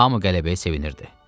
Hamı qələbəyə sevinirdi.